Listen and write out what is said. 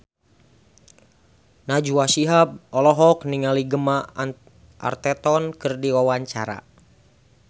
Najwa Shihab olohok ningali Gemma Arterton keur diwawancara